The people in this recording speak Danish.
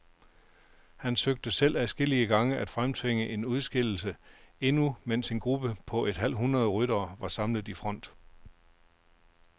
Han søgte selv adskillige gange at fremtvinge en udskillelse, endnu mens en gruppe på et halvt hundrede ryttere var samlet i front.